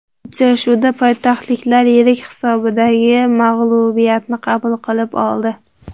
Uchrashuvda poytaxtliklar yirik hisobdagi mag‘lubiyatni qabul qilib oldi.